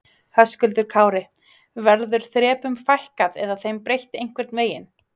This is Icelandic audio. Höskuldur Kári: Verður þrepum fækkað eða þeim breytt einhvern veginn?